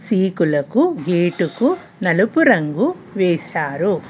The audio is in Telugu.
రేకులకు గేటుకు నలుపు రంగు వేసారు.